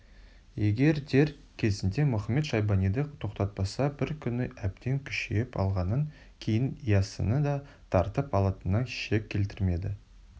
егер дер кезінде мұхамед-шайбаниды тоқтатпаса бір күні әбден күшейіп алғаннан кейін яссыны да тартып алатынына шек келтірмеді